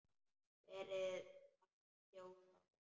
Verið að hringja út árið.